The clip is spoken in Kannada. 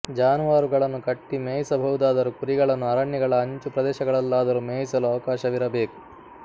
ಜಾನುವಾರುಗಳನ್ನು ಕಟ್ಟಿ ಮೇಯಿಸಬಹುದಾದರು ಕುರಿಗಳನ್ನು ಅರಣ್ಯಗಳ ಅಂಚು ಪ್ರದೇಶಗಳಲ್ಲಾದರೂ ಮೇಯಿಸಲು ಅವಕಾಶವಿರಬೇಕು